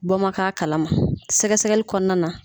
Bɔ man k'a kalama sɛgɛ sɛgɛli kɔnɔna na